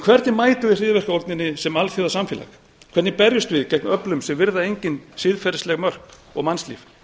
hvernig mætum við hryðjuverkaógninni sem alþjóðasamfélag hvernig berjumst við gegn öflum sem virða engin siðferðisleg mörk og mannslíf